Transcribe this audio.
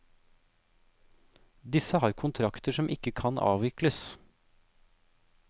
Disse har kontrakter som ikke kan avvikles.